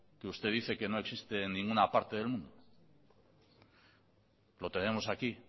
que usted dice que no existe en ninguna parte del mundo lo tenemos aquí